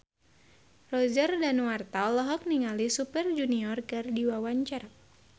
Roger Danuarta olohok ningali Super Junior keur diwawancara